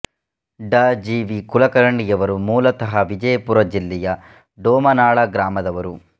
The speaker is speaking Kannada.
ಡಾ ಜಿ ವಿ ಕುಲಕರ್ಣಿಯವರು ಮೂಲತಃ ವಿಜಯಪುರ ಜಿಲ್ಲೆಯ ಡೊಮನಾಳ ಗ್ರಾಮದವರು